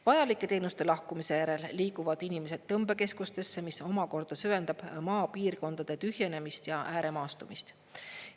Vajalike teenuste lahkumise järel liiguvad inimesed tõmbekeskustesse, mis omakorda süvendab maapiirkondade tühjenemist ja ääremaastumist.